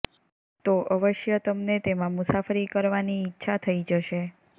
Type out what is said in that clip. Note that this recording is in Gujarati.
તો અવશ્ય તમને તેમાં મુસાફરી કરવાની ઈચ્છા થઈ જશે